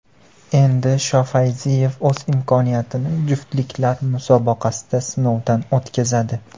Endi Shofayziyev o‘z imkoniyatini juftliklar musobaqasida sinovdan o‘tkazadi.